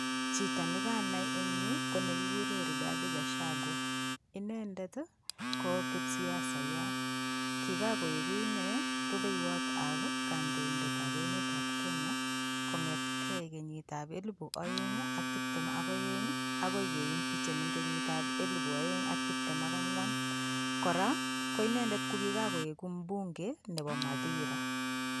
Chito nekanai en yuu ko nekikuren Righati Ghachagua, inendet ii ko kipsiasayat, inendet ko Kiran koiku inendet rubeiwotab emetab Kenya kong'eten kenyitab kenyitab elibu oeng ak tibtem ok oeng akoi kee impichen en kenyitab elibu oeng ak tibtem ak angwan, kora inendet ko kiran koiku mbunge nebo Mathira.